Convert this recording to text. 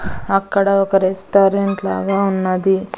అక్కడ ఒక రెస్టారెంట్ లాగా ఉన్నది.